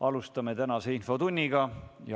Alustame tänast infotundi.